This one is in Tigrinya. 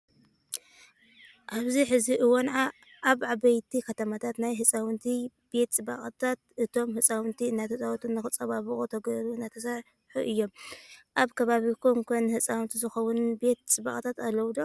ኣብዚ ሕዚ እዋን ኣብ ዓበይቲ ከተማታት ናይ ህፃውንቲ ቤት ፅባቐታት እቶም ህፃውንቲ እናተፃወቱ ንክፀባበቑ ተገይሩ እናተሰርሑ እዮም። ኣብ ከባቢኹም ኸ ንህፃውንቲ ዝኾኑ ቤት ፅባቀታት ኣለው ዶ?